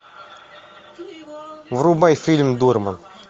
врубай фильм дорман